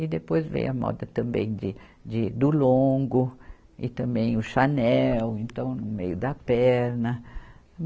E depois veio a moda também de, de, do longo e também o chanel, então no meio da perna.